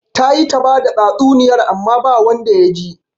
Ta yi ta bada tsatsuniyarta amma ba wanda ya ji